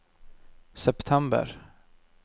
september